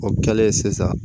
O kɛlen sisan